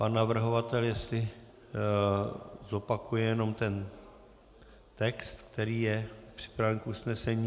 Pan navrhovatel, jestli zopakuje jenom ten text, který je připraven k usnesení.